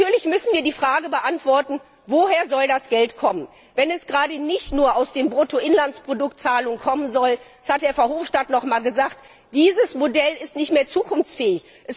Natürlich müssen wir die Frage beantworten, woher das Geld kommen soll, wenn es gerade nicht nur aus den Bruttoinlandsproduktzahlungen kommen soll, das hat Herr Verhofstadt nochmals gesagt, dieses Modell ist nicht mehr zukunftsfähig.